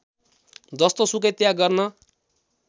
जस्तोसुकै त्याग गर्न